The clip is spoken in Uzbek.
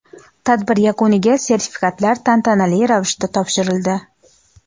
Tadbir yakuniga sertifikatlar tantanali ravishda topshirildi.